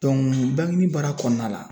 bankinibaara kɔnɔna la.